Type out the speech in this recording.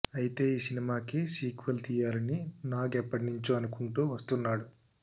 అయితే ఈ సినిమాకి సీక్వెల్ తీయాలని నాగ్ ఎప్పటినుంచో అనుకుంటూ వస్తున్నాడు